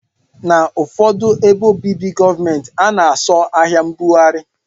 Na ụfọdụ ebe obibi gọọmenti ana asọ ahia mbugari.